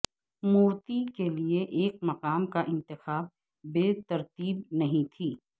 مورتی کے لئے ایک مقام کا انتخاب بے ترتیب نہیں تھی